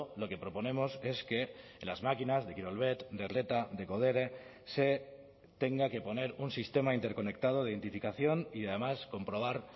lo que proponemos es que en las máquinas de kirolbet de reta de codere se tenga que poner un sistema interconectado de identificación y además comprobar